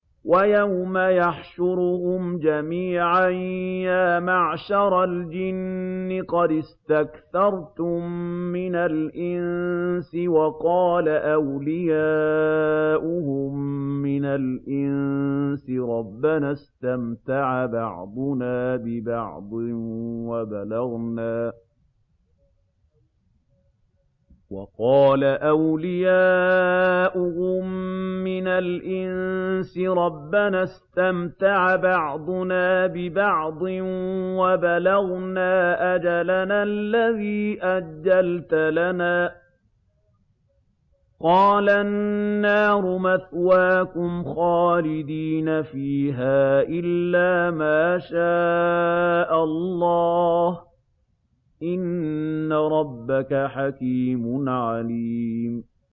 وَيَوْمَ يَحْشُرُهُمْ جَمِيعًا يَا مَعْشَرَ الْجِنِّ قَدِ اسْتَكْثَرْتُم مِّنَ الْإِنسِ ۖ وَقَالَ أَوْلِيَاؤُهُم مِّنَ الْإِنسِ رَبَّنَا اسْتَمْتَعَ بَعْضُنَا بِبَعْضٍ وَبَلَغْنَا أَجَلَنَا الَّذِي أَجَّلْتَ لَنَا ۚ قَالَ النَّارُ مَثْوَاكُمْ خَالِدِينَ فِيهَا إِلَّا مَا شَاءَ اللَّهُ ۗ إِنَّ رَبَّكَ حَكِيمٌ عَلِيمٌ